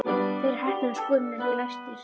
Þau eru heppin að skúrinn er ekki læstur.